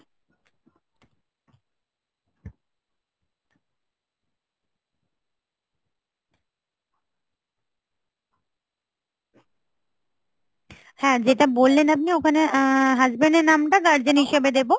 হ্যাঁ যেটা বললেন আপনি ওখানে আহ husband এর নামটা guardian হিসেবে দেবো